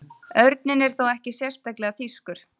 Örninn er þó ekki sérstaklega þýskur.